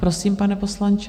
Prosím, pane poslanče.